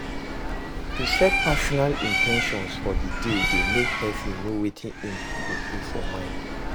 To set personal in ten tions for di day de make persin know wetin im go put mind for